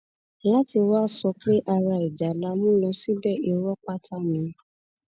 láti wàá sọ pé ara ìjà la mú lọ síbẹ irọ pátá ni